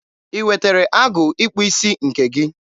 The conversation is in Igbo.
I wetere agụ ịkpụ isi nke gị?